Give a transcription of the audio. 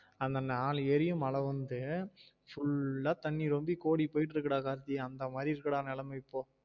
அந்த நாலு ஏரியும் மழ வந்து full ஆ தண்ணி ரொம்பி கோடி போயிட்டு இருக்குடா கார்த்தி அந்தா மாதிரி இருக்குடா நிலைமை இப்போ